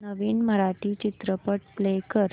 नवीन मराठी चित्रपट प्ले कर